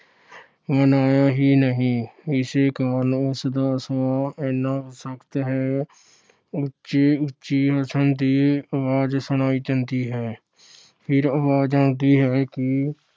ਮਾਣਿਆ ਹੀ ਨਹੀਂ। ਇਸੇ ਕਾਰਨ ਉਸ ਦਾ ਸੁਭਾਅ ਇੰਨਾ ਸਖ਼ਤ ਹੈ। ਉੱਚੀ–ਉੱਚੀ ਹੱਸਣ ਦੀ ਆਵਾਜ਼ ਸੁਣਾਈ ਦਿੰਦੀ ਹੈ। ਫਿਰ ਆਵਾਜ਼ ਆਉਂਦੀ ਹੈ ਕਿ